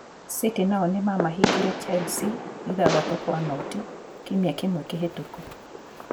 City nao nĩ maamahingire Chelsea 6-0 kiumia kĩmwe kĩhĩtũku.